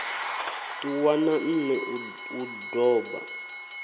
ṱuwa na nṋe u doba